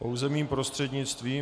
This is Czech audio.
Pouze mým prostřednictvím.